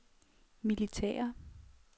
militære